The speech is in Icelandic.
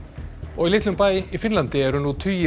í litlum bæ í Finnlandi eru nú tugir